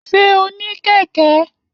Ṣé o ní kẹ̀kẹ́?